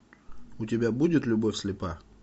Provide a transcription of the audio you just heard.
у тебя будет любовь слепа